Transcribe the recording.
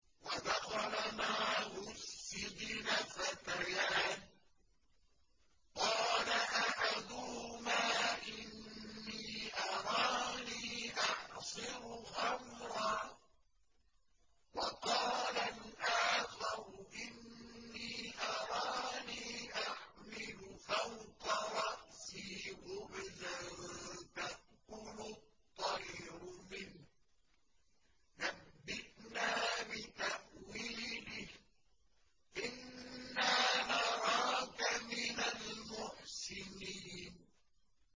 وَدَخَلَ مَعَهُ السِّجْنَ فَتَيَانِ ۖ قَالَ أَحَدُهُمَا إِنِّي أَرَانِي أَعْصِرُ خَمْرًا ۖ وَقَالَ الْآخَرُ إِنِّي أَرَانِي أَحْمِلُ فَوْقَ رَأْسِي خُبْزًا تَأْكُلُ الطَّيْرُ مِنْهُ ۖ نَبِّئْنَا بِتَأْوِيلِهِ ۖ إِنَّا نَرَاكَ مِنَ الْمُحْسِنِينَ